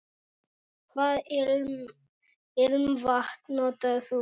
Hvaða ilmvatn notar þú?